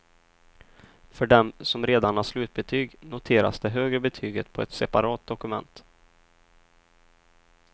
För dem, som redan har slutbetyg, noteras det högre betyget på ett separat dokument.